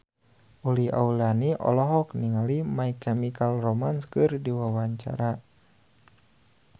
Uli Auliani olohok ningali My Chemical Romance keur diwawancara